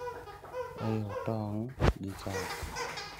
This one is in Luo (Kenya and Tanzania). Riu tong' gi chak